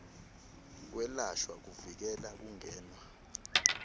kwelashwa kuvikela kungenwa